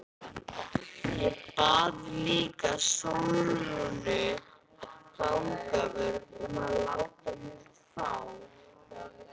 Ég bað líka Sólrúnu fangavörð um að láta mig fá